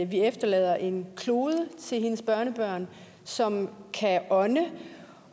vi efterlader en klode til hendes børnebørn som kan ånde